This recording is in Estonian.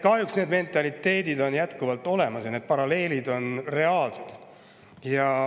Kahjuks see mentaliteet on jätkuvalt olemas ja need paralleelid on reaalsed.